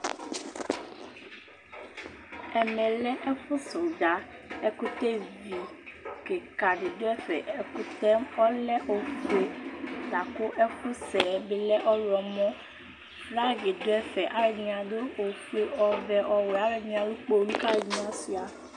Ɛmɛ lɛ ɛfʋsɛ ʋdza Ɛkʋtɛvi kɩka dɩ dʋ ɛfɛ Ɛkʋtɛ yɛ ɔlɛ ofue la kʋ ɛfʋsɛ yɛ bɩ lɛ ɔɣlɔmɔ Bagɩ dʋ ɛfɛ, alʋɛdɩnɩ adʋ ofue, ɔvɛ, ɔwɛ, alʋɛdɩnɩ alʋ kpolu kʋ alʋɛdɩnɩ asʋɩa